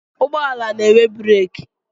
Ụgbọala na-enwe breeki.